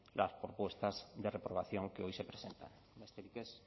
las propuestas de reprobación que hoy se presentan besterik ez